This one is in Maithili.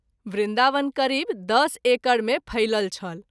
वृन्दावन करीब दस एकर मे फैलल छल।